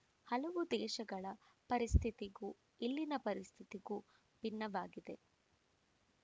ಹಲವು ದೇಶಗಳ ಪರಿಸ್ಥಿತಿಗೂ ಇಲ್ಲಿನ ಪರಿಸ್ಥಿತಿಗೂ ಭಿನ್ನವಾಗಿದೆ